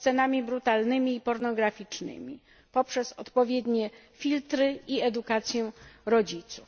scenami brutalnymi i pornograficznymi, poprzez odpowiednie filtry i edukację rodziców.